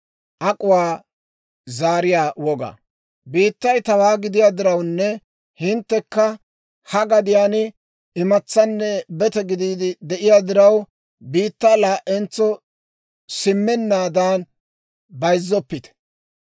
« ‹Biittay tawaa gidiyaa dirawunne hinttekka ha gadiyaan imatsaanne bete gidiide de'iyaa diraw, biittaa laa"entso simmennaadan bayizzoppite.